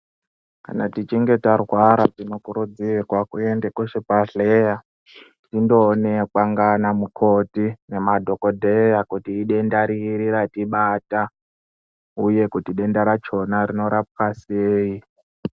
Kana tichinge tarwara tinokurudzirwa kuende kuchibhedhlera tindoonekwa ngana mukoti nemadhokodheya kuti idenda riri ratibata uye kuti denda rachona einorapwa sei.